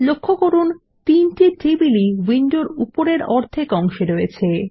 লক্ষ্য করুন তিনটি টেবিল ই উইন্ডোর উপরের অর্ধেক অংশে রয়েছে